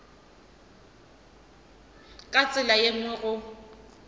ka tsela ye nngwe go